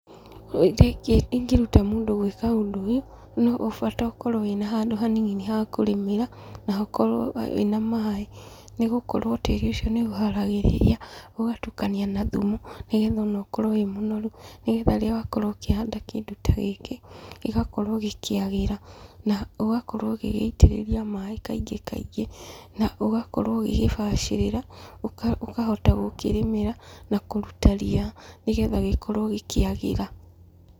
Ũrĩa ingĩruta mũndũ gwĩka ũndũ ũyũ, no bata ũkorwo na handũ hanini ha kũrĩmĩra, na hakorwo wĩna maaĩ nĩgũkorwo tĩĩri ũcio nĩũũharagĩria ũgatukania na thumu, nĩgetha ona ũkorwo wĩ mũnoru, nĩgetha rĩrĩa wakorwo ũkĩhanda kĩndũ ta gĩkĩ gĩgakorwo gĩkĩagĩra na ũgakorwo ũgĩgĩitĩrĩria maaĩ kaingĩ kaingĩ, na ũgakorwo ũgĩgĩbacĩrĩra, ũkahota gũkĩrĩmĩra na kũruta ria nĩgetha gĩkorwo gĩkĩagĩra.